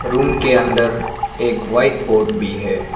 Room के अंदर एक व्हाइट बोर्ड भी है।